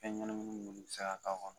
Fɛn ɲanamini ninnu bɛ se k'a kɔnɔ.